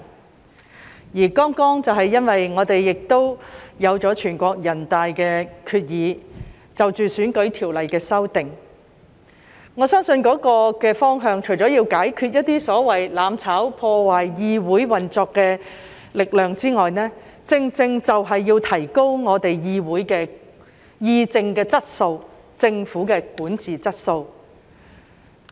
我們亦剛剛有了全國人大的決議，是關於選舉條例的修訂，我相信，這個方向除了要解決一些所謂"攬炒"、破壞議會運作的力量之外，正正就是要提高議會的議政質素，以及政府的管治質素。